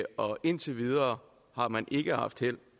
og indtil videre har man ikke haft held